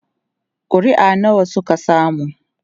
ƙuri'a nawa Suka samu?